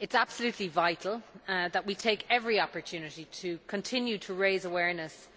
It is absolutely vital that we take every opportunity to continue to raise awareness